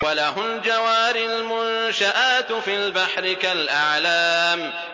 وَلَهُ الْجَوَارِ الْمُنشَآتُ فِي الْبَحْرِ كَالْأَعْلَامِ